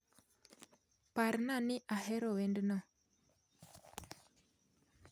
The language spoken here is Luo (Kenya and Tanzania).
Parna ni ahero wendno